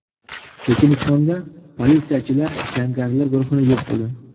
Chechenistonda politsiyachilar jangarilar guruhini yo‘q qildi.